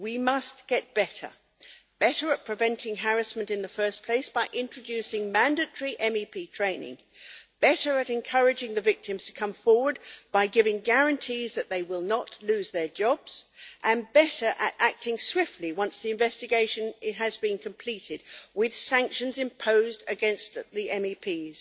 We must get better better at preventing harassment in the first place by introducing mandatory MEP training, better at encouraging the victims to come forward by giving guarantees that they will not lose their jobs, and better at acting swiftly once the investigation has been completed, with sanctions imposed against the MEPs.